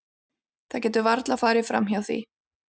Það getur varla farið hjá því.